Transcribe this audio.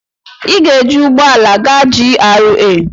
Ị ga-ejị ụgbọ ala gaa GRA